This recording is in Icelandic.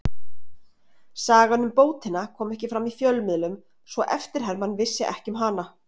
Sagan um bótina kom ekki fram í fjölmiðlum svo eftirherman vissi ekki um hana.